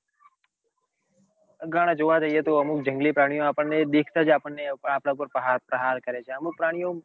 અને ઘણા જોવા જોઈએ તો અમુક જંગલી પ્રાણીઓ આપણ ને દેખાતા જ આપણ ને આપડા પાર પ્રહાર પ્રહાર કરે છે અમુક પ્રાણીઓ